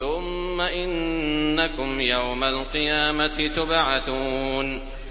ثُمَّ إِنَّكُمْ يَوْمَ الْقِيَامَةِ تُبْعَثُونَ